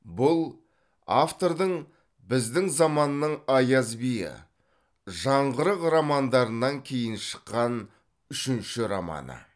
бұл автордың біздің заманның аяз биі жаңғырық романдарынан кейін шыққан үшінші романы